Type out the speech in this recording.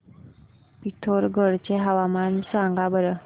पिथोरगढ चे हवामान सांगा बरं